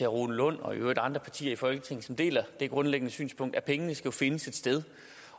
rune lund og i øvrigt andre partier her i folketinget som deler det grundlæggende synspunkt at pengene jo skal findes et sted